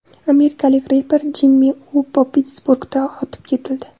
Amerikalik reper Jimmi Uopo Pittsburgda otib ketildi.